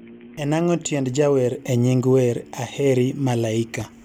en ang'o tiend jawer e nying wer aheri malaika